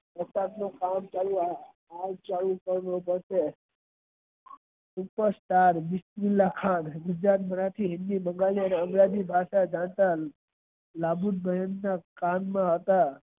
અને engish ભાષા જાણતા લાભુ બેન ના હતા.